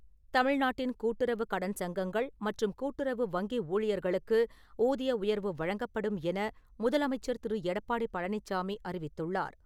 தமிழ்நாட்டின் கூட்டுறவுக் கடன் சங்கங்கள் மற்றும் கூட்டுறவு வங்கி ஊழியர்களுக்கு ஊதிய உயர்வு வழங்கப்படும் என முதலமைச்சர் திரு. எடப்பாடி பழனிசாமி அறிவித்துள்ளார்.